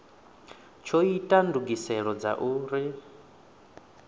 tsho ita ndugiselo dza uri